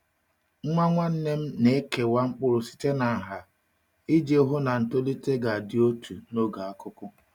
Nwa nwanne m na-ekewa mkpụrụ site na nha iji hụ na ntolite ga-adị otu n’oge akuku.